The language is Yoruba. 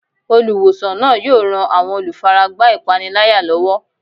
Olùwòsàn náà yóò ran àwọn olùfaragbá ìpániláyà lọ́wọ́.